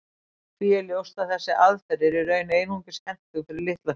Því er ljóst að þessi aðferð er í raun einungis hentug fyrir litla hluti.